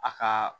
A ka